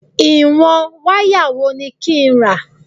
Ìwọ̀n wáyà wo ni kí n rà?